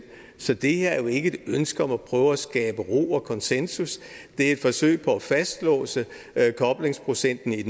så det er jo ikke ønske om at prøve at skabe ro og konsensus det er et forsøg på at fastlåse koblingsprocenten i